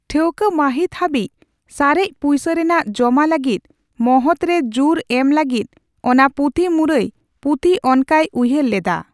ᱴᱷᱟᱹᱣᱠᱟ ᱢᱟᱹᱦᱤᱛ ᱦᱟᱹᱵᱤᱡ ᱥᱟᱨᱮᱡ ᱯᱩᱭᱥᱟᱹ ᱨᱮᱱᱟᱜ ᱡᱚᱢᱟ ᱞᱟᱹᱜᱤᱫ ᱢᱚᱦᱚᱛ ᱨᱮ ᱡᱩᱨ ᱮᱢ ᱞᱟᱹᱜᱤᱫ ᱚᱱᱟ ᱯᱩᱛᱷᱤᱢᱩᱨᱟᱹᱭ ᱯᱩᱛᱷᱤ ᱚᱱᱠᱟᱭ ᱩᱭᱦᱟᱹᱨ ᱞᱮᱫᱟ ᱾